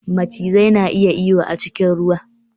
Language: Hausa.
Macizai na iya iyo a cikin ruwa